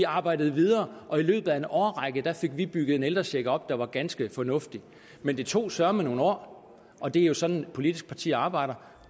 arbejdet videre og i løbet af en årrække fik vi bygget en ældrecheck op der var ganske fornuftig men det tog søreme nogle år og det er jo sådan de politiske partier arbejder